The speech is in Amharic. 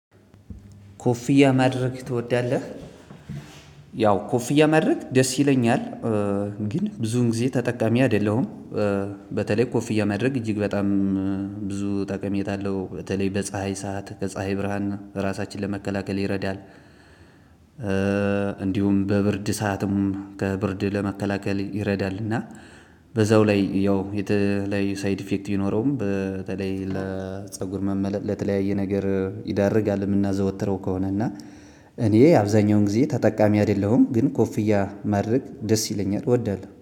ኮፍያ ማድረግ ትወዳለህ? ያው ኮፍያ ማድረግ ደስ ይለኛል። ግን ብዙውን ጊዜ ተጠቃሚ አይደለሁም። በተለይ ኮፍያ ማድረግ እጅግ በጣም ብዙ ጠቀሜታ አለው በተለይ በጸሃይ ሰዓት ከፀሀይ ብርሃን ራሳችን ለመከላከል ይረዳል። እንዲሁም በብርድ ሰዓትም ከብርድ ለመከላከል ይረዳል። እና በዛው ላይ ያው የተለያየ ሳይድ ኢፌክት ቢኖረውም በተለይ ለጽጉር መመለጥ ለተለያየ ነገር ይዳርጋል። የምናዘወትረው ከሆነ እና እኔ አብዛኛውን ጊዜ ተጠቃሚ አይደለሁም። ግን ኮፍያ ማድረግ ደስ ይለኛል እወዳለሁ